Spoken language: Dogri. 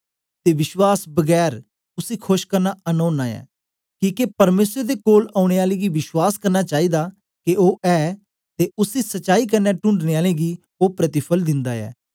ते विश्वास बगैर उसी खोश करना अन ओना ऐ किके परमेसर दे कोल औने आले गी विश्वास करना चाईदा के ओ ऐ ते उसी सच्चाई कन्ने टूंडने आलें गी ओ प्रतिफल दिन्दा ऐ